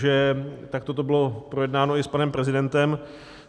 Že takto to bylo projednáno i s panem prezidentem.